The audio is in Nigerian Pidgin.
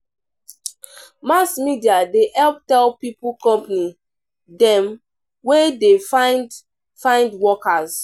Mass Media dey help tell pipo company dem wey dey find find workers.